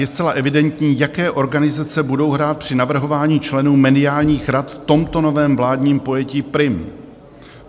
Je zcela evidentní, jaké organizace budou hrát při navrhování členů mediálních rad v tomto novém vládním pojetí prim.